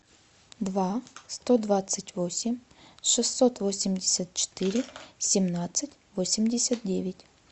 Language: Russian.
два сто двадцать восемь шестьсот восемьдесят четыре семнадцать восемьдесят девять